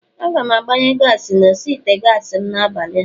Aga m agbanye gaasi n'osi ite gaasi m n'abalịa